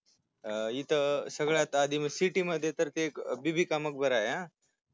अं इथे शहरात city मध्ये आधी ते बीबी का मकबराय आ